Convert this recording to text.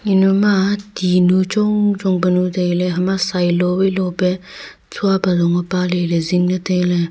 enu ma tinu chong chong penu tailey hema sai lowai lo pe tsua pe zong nye pa ley ley zing ley tailey.